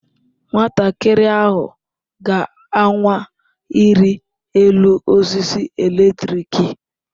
Nwatakịrị ahụ ga-anwa ịrị elu osisi eletrik.